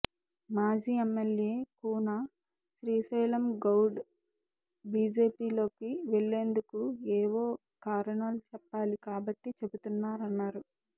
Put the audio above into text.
మాజీ ఎమ్మెల్యే కూన శ్రీశైలంగౌడ్ బీజేపీలోకి వెళ్లేందుకు ఏవో కారణాలు చెప్పాలి కాబట్టి చెబుతున్నారన్నారు